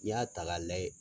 N'i y'a ta k'a lajɛ